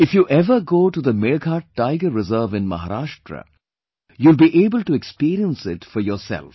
If you ever go to the Melghat Tiger Reserve in Maharashtra, you will be able to experience it for yourself